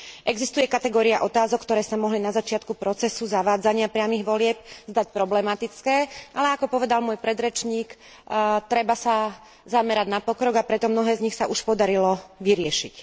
Existuje kategória otázok, ktoré sa mohli na začiatku procesu zavádzania priamych volieb zdať problematické, ale ako povedal môj predrečník, treba sa zamerať na pokrok, a preto mnohé z nich sa už podarilo vyriešiť.